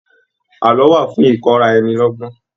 Àlọ́ wà fún ìkọ́ra ẹni lọ́gbọ́n